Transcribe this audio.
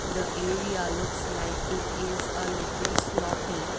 the area looks like it is a little sloppy.